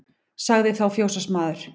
Sagði þá fjósamaður